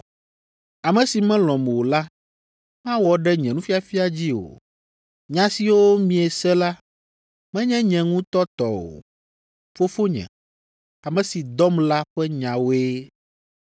Ame si melɔ̃m o la mawɔ ɖe nye nufiafia dzi o. Nya siwo miese la, menye nye ŋutɔ tɔ o; Fofonye, ame si dɔm la ƒe nyawoe.